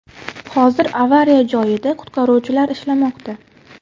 Hozir avariya joyida qutqaruvchilar ishlamoqda.